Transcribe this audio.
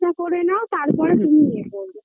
করে নাও তারপরে তুমি ই এ করবে